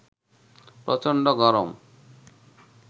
প্রচন্ড গরম